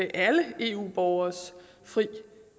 alle eu borgeres frie